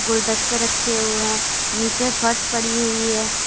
गुलदस्ते रखे हुए हैं नीचे फर्श पड़ी हुई है।